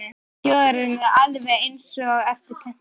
Óskabörn þjóðarinnar, alveg eins og eftir pöntun